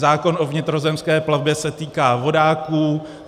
Zákon o vnitrozemské plavbě se týká vodáků.